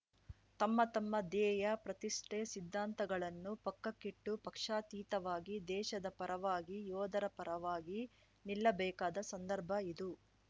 ತಮ್ಮ ತಮ್ಮ ಧ್ಯೇಯ ಪ್ರತಿಷ್ಠೆ ಸಿದ್ಧಾಂತಗಳನ್ನು ಪಕ್ಕಕ್ಕಿಟ್ಟು ಪಕ್ಷಾತೀತವಾಗಿ ದೇಶದ ಪರವಾಗಿ ಯೋಧರ ಪರವಾಗಿ ನಿಲ್ಲಬೇಕಾದ ಸಂದರ್ಭ ಇದು